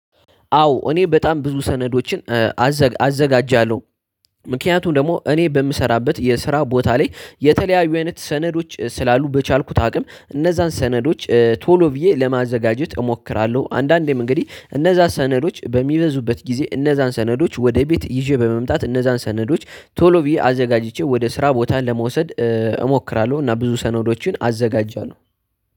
አዎ እኔ በጣም ብዙ ሰነዶችን አዘጋጃለሁ ምክንያቱም ደግሞ እኔ በምሰራበት የስራ ቦታ ላይ የተለያዩ አይነት ሰነዶች ስላሉ በቻልኩት አቅም እነዛን ሰነዶች ቶሎ ብዬ ለማዘጋጀት እሞክራለው። አንዳንዴም አንግዲህ እነዛ ሰነዶች በሚበዙበት ጊዜ እነዛን ሰነዶች ወደ ቤት ይዤ በመምጣት እነዛን ሰነዶች ቶሎ ብዬ አዘጋጅቼ ወደ ስራ ቦታ ለመውሰድ እሞክራለሁ እና ብዙ ሰነዶችን አዘጋጃለው።